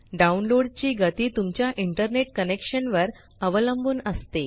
download ची गती तुमच्या इंटरनेट कनेक्शन वर अवलंबुन असते